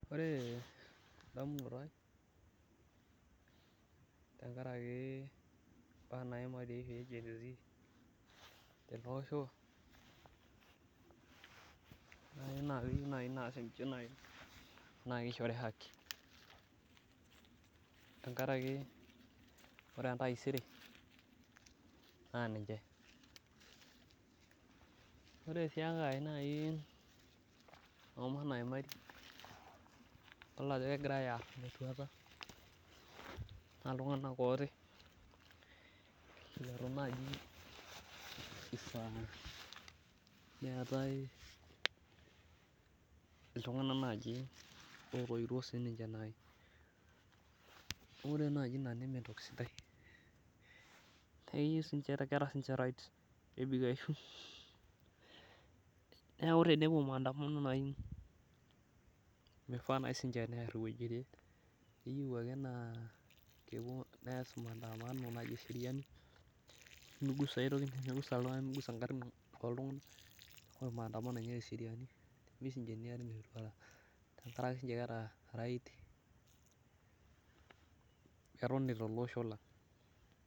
ore edamunoto ai tenkaraki, ibaa naimari teloosho nakeyieu naaji naa kishori haki, tenkaraki ore entaisere naa niche ore sii enkae naa , idol ajo kegirae aar metuata, naa iltunganak ooti letu naaji, neeku ina pee ifaa netae iltunganak otoiwuotuo naaji, ore naji ina neme enttoki sidai neeku tenepuo manadamano nepuo tesai tenkaraki keeta sii niche right, pee etoni tele osho lang'.